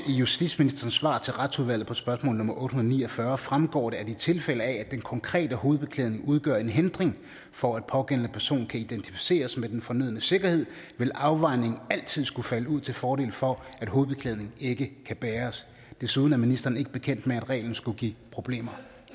justitsministerens svar til retsudvalget på spørgsmål nummer otte hundrede og ni og fyrre fremgår det at i tilfælde af at den konkrete hovedbeklædning udgør en hindring for at pågældende person kan identificeres med den fornødne sikkerhed vil afvejningen altid skulle falde ud til fordel for at hovedbeklædning ikke kan bæres desuden er ministeren ikke bekendt med at reglen skulle give problemer